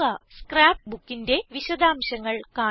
scrap Bookന്റെ വിശദാംശങ്ങൾ കാണിക്കുന്നു